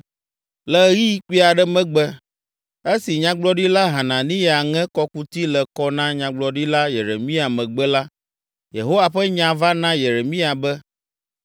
Le ɣeyiɣi kpui aɖe megbe, esi Nyagblɔɖila Hananiya ŋe kɔkuti le kɔ na Nyagblɔɖila Yeremia megbe la, Yehowa ƒe nya va na Yeremia be,